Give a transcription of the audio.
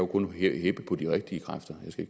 kun heppe på de rigtige kræfter jeg skal